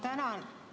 Tänan!